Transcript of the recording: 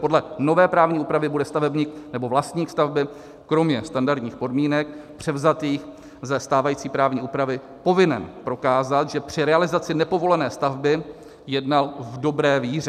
Podle nové právní úpravy bude stavebník nebo vlastník stavby kromě standardních podmínek převzatých ze stávající právní úpravy povinen prokázat, že při realizaci nepovolené stavby jednal v dobré víře.